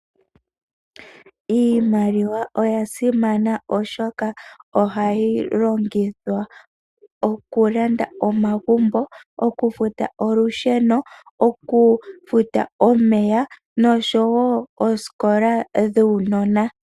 Iimaliwa oya simana oshoka ohayi longithwa okulanda omagumbo, okufuta olusheno, okufuta omeya nosho woo oosikola dhuunona.